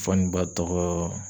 Fɔ ni ba tɔgɔ